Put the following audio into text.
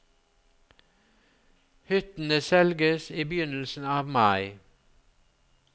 Hyttene selges i begynnelsen av mai.